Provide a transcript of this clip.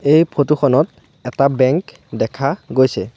এই ফটো খনত এটা বেঙ্ক দেখা গৈছে।